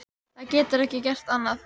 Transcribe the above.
Það getur ekki gert annað.